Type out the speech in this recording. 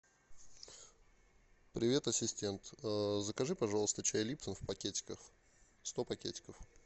привет ассистент закажи пожалуйста чай липтон в пакетиках сто пакетиков